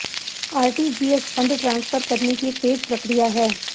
RTGS fund transfer करने की एक तेज प्रक्रिया है